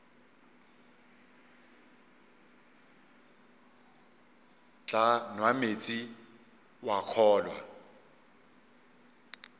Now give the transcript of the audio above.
tla nwa meetse wa kgolwa